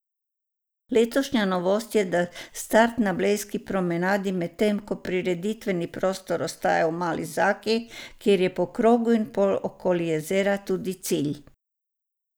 Letošnja novost je, da je start na blejski promenadi, medtem ko prireditveni prostor ostaja v Mali Zaki, kjer je po krogu in pol okoli jezera tudi cilj.